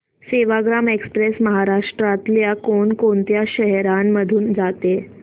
Sevagram express महाराष्ट्रातल्या कोण कोणत्या शहरांमधून जाते